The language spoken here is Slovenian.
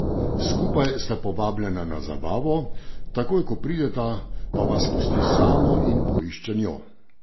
Skupaj sta povabljena na zabavo, takoj ko prideta, pa vas pusti samo in poišče njo.